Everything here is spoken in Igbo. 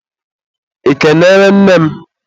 ị kenere nne m?